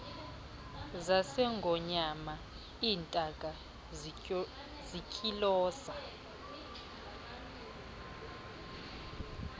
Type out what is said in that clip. zasengonyama iintaka zintyiloza